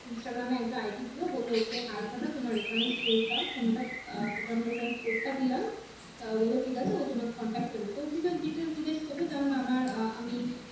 Instragram একটা ID দিলো বললো ওকে hi পাঠাও তোমার reference করে দাও তোমাকে আমি reference করতে দিলাম তা হলে ঠিক আছে ও তোমাকে contact করে নেবে তখন কিছু details জিজ্ঞাস করবে যেমন আমার আমি